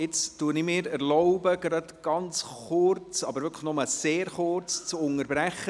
Ich erlaube mir eine kurze, wirklich nur sehr kurze Unterbrechung.